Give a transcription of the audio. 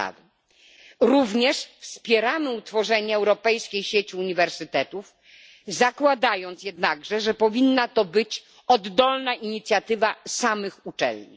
Wspieramy również utworzenie europejskiej sieci uniwersytetów, zakładając jednak, że powinna to być oddolna inicjatywa samych uczelni.